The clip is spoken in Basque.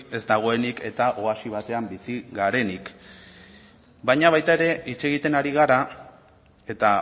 ez dagoenik eta oasi batean bizi garenik baina baita ere hitz egiten ari gara eta